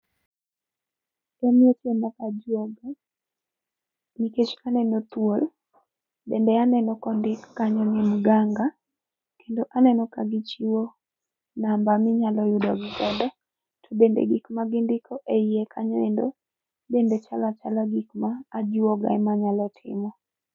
En weche mag ajuoga nikech aneno thuol, bende aneno kondik kanyo ni mganga kendo aneno ka gichiwo namba minyalo yudo gi godo. To bende gik magindiko eiye kanyo endo, bende chalo achala gik ma ajuoga ema nyalo timo.